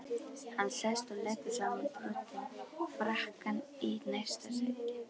Hann sest og leggur samanbrotinn frakkann í næsta sæti.